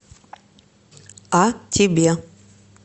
а тебе